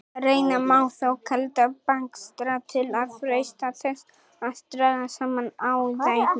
Reyna má þó kalda bakstra til að freista þess að draga saman æðarnar.